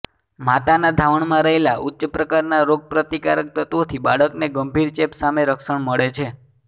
માતાના ધાવણમાં રહેલા ઉચ્ચ પ્રકારના રોગપ્રતિકારક તત્વોથી બાળકને ગંભીર ચેપ સામે રક્ષણ મળે છે